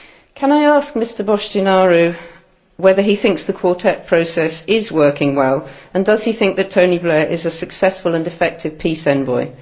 Can I ask Mr Boştinaru whether he thinks the Quartet process is working well and does he think that Tony Blair is a successful and effective peace envoy?